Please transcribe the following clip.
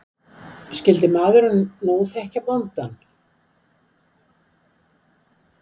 Skyldi maðurinn nú þekkja bóndann?